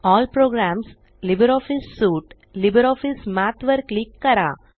L प्रोग्रामसगटगत LibreOffice सुटेग्टगत LibreOffice Math वर क्लिक करा